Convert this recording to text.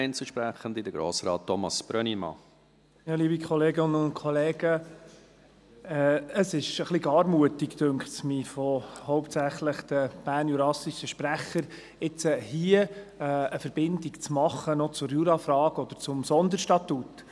Ich finde es etwas gar mutig, hauptsächlich von den bernjurassischen Sprechern, jetzt hier noch eine Verbindung zum Jura oder zum Sonderstatut zu machen.